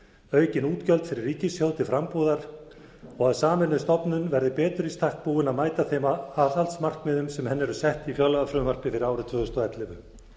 aukin útgjöld fyrir ríkissjóð til frambúðar og að sameinuð stofnun verði betur í stakk búin að mæta þeim aðhaldsmarkmiðum sem henni eru sett í fjárlagafrumvarpi fyrir árið tvö þúsund og ellefu